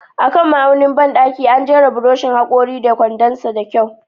A kan ma'aunin bandaki, an jera buroshin hakori da kwandon sa da kyau.